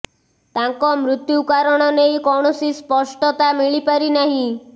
ତାଙ୍କ ମୃତ୍ୟୁ କାରଣ ନେଇ କୌଣସି ସ୍ପଷ୍ଟତା ମିଳିପାରି ନାହିଁ